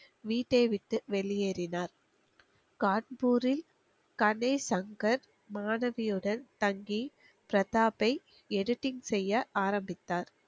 வீட்டை விட்டு வெளியேறினார் கான்பூரில் கனேசங்கர் மாணவியுடன் தங்கி பிரதாபை editing செய்ய ஆரம்பித்தார்